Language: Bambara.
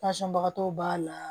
bagatɔw b'a la